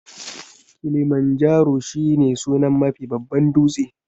Kilimanjaro shi ne sunan Mafi babban dūtse